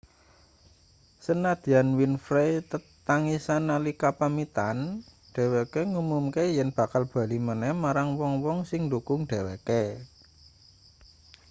sanadyan winfrey tetangisan nalika pamitan dheweke ngumumke yen bakal bali maneh marang wong-wong sing ndhukung dheweke